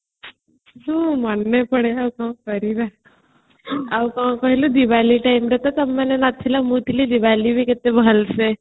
ମନେ ପଡିଲେ ଆଉ କଣ କରିବା ଆଉ କଣ କହିଲ diwali time ରେ ତ ନଥିଲ ମୁ ଥିଲି diwali ବି କଟିଲା ଭଲସେ